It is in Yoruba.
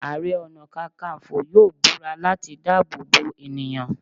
Àrẹ-ọ̀nà-kákanfọ̀ yóò búra láti dáàbò bo ènìyàn.